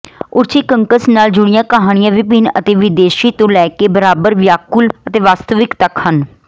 ਓਰਛੀਕੰਕਸ ਨਾਲ ਜੁੜੀਆਂ ਕਹਾਣੀਆਂ ਵਿਭਿੰਨ ਅਤੇ ਵਿਦੇਸ਼ੀ ਤੋਂ ਲੈਕੇ ਬਰਾਬਰ ਵਿਆਕੁਲ ਅਤੇ ਵਾਸਤਵਿਕ ਤੱਕ ਹਨ